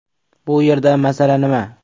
Bu yerda masala nima?